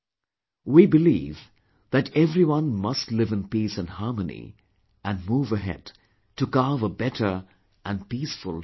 We believe that everyone must live in peace and harmony and move ahead to carve a better and peaceful tomorrow